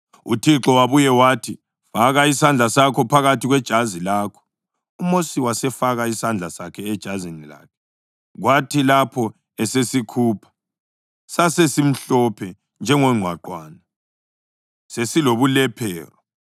UThixo wabuye wathi, “Faka isandla sakho phakathi kwejazi lakho.” UMosi wasefaka isandla sakhe ejazini lakhe, kwathi lapho esesikhupha, sasesimhlophe njengongqwaqwane sesilobulephero.